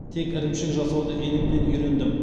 тек ірімшік жасауды енемнен үйрендім